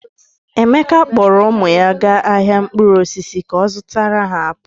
Emeka kpọọrọ ụmụ ya gaa ahịa mkpụrụ osisi ka ọ zụtara ha apụl.